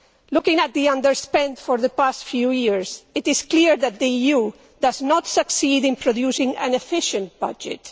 Looking at the underspend for the past few years, it is clear that the EU does not succeed in producing an efficient budget.